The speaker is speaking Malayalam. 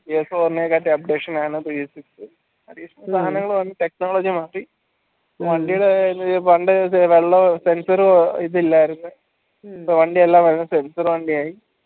updation സാധനങ്ങൾ വന്ന്‌ technology മാറ്റി വണ്ടിയുടെ കാര്യത്തിന് പണ്ടേ വെള്ളം sensor ഇതില്ലായിരുന്നു ഇപ്പോ വണ്ടി എല്ലാം sensor വണ്ടി